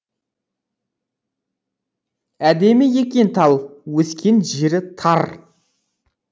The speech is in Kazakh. әдемі екен тал өскен жері тар